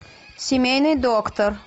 семейный доктор